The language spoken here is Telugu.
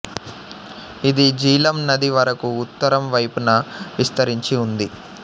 ఇది జీలం నది వరకు ఉత్తరం వైపున విస్తరించి ఉంది